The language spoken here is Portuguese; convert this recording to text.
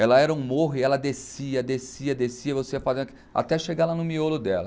Ela era um morro e ela descia, descia, descia, você ia até chegar lá no miolo dela.